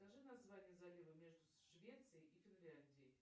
скажи название залива между швецией и финляндией